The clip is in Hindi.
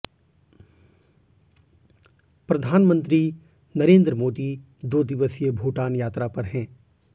प्रधानमंत्री नरेंद्र मोदी दो दिवसीय भूटान यात्रा पर हैें